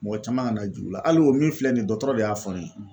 Mɔgɔ caman kana jig'u la hali o min filɛ nin ye dɔgɔtɔrɔ de y'a fɔ ne ye,